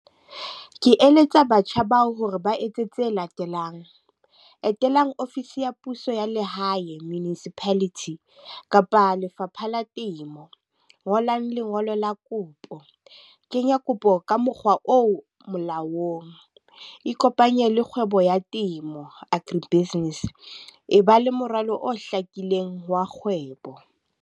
Ke eletsa batjha bao hore ba etse tse latelang, etelang office ya puso ya lehae, municipality. Kapa lefapha la temo, ngolang lengolo la kopo, kenya kopo ka mokgwa o molaong, ikopanye le kgwebo ya temo, agri business. E ba le moralo o hlakileng wa kgwebo.